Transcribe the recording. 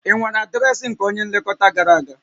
Ị nwere adreesị nke onye nlekọta gara aga?